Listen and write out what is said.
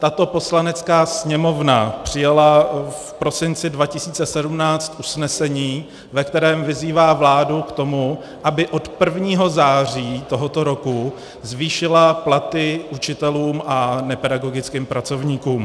Tato Poslanecká sněmovna přijala v prosinci 2017 usnesení, ve kterém vyzývá vládu k tomu, aby od 1. září tohoto roku zvýšila platy učitelům a nepedagogickým pracovníkům.